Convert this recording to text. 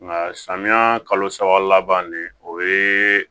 Nka samiya kalo saba laban ne o ye